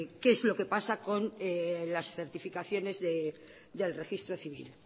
que es lo que pasa con las certificaciones del registro civil